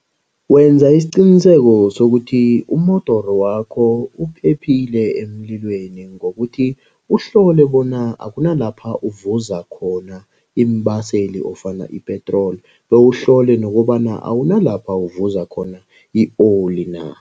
Wenza isiqiniseko sokuthi umodoro wakho uphephile emlilweni. Ngokuthi uhlole bona akunala lapha uvuza khona iimbaseli ofana ipetroli. Bewuhlole nokobana awuna lapha uvuza khona i-oli na.